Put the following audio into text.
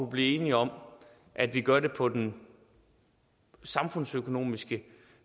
blive enige om at vi gør det på den samfundsøkonomisk